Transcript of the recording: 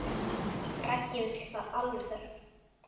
Raggi vill það alveg.